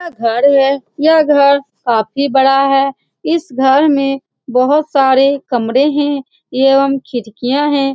यह घर हे यह घर काफी बड़ा है इस घर में बहुत सरे कमरे है एवं खिड़किया है।